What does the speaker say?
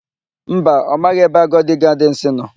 Mba, ọ maghị ebe Agodi Gadịnsị nọ.